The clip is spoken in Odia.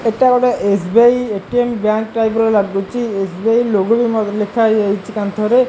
ଏଇଟା ଗୋଟେ ଏସ୍_ବି_ଆଇ ଏ_ଟି_ଏମ୍ ବ୍ୟାଙ୍କ୍ ଟାଇପ୍ ର ଲାଗୁଚି ଏସ୍_ବି_ଆଇ ଲୋଗୋ ମ ବି ଲେଖା ହେଇ ଯାଇଛି କାନ୍ଥରେ।